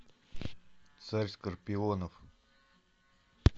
царь скорпионов